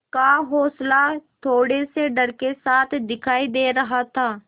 का हौंसला थोड़े से डर के साथ दिखाई दे रहा था